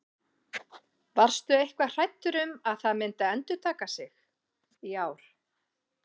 Varstu eitthvað hræddur um að það myndi endurtaka sig í ár?